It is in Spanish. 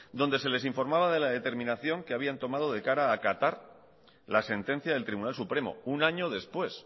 donde se les informaba de la determinación que habían tomado de cara a acatar la sentencia del tribunal supremo un año después